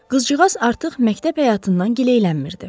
Qızcığaz artıq məktəb həyatından giləylənmirdi.